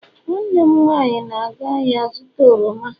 nwanne m nwanyi na-aga ahia zuta oroma